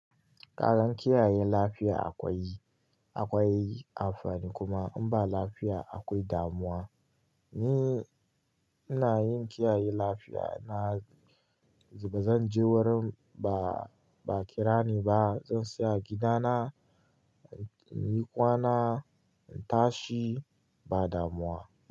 Kagan kiyaye lafiya akwai, akwai amfani kuma in ba lafiya akwai damuwa. Ni ina yin kiyaye lafiya na, ba zan je wurin ba kirani ba. Zan saya gidana, in yi kwana, in tashi ba damuwa.